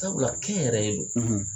Sabula kɛ n yɛrɛ ye don